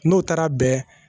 N'o taara bɛn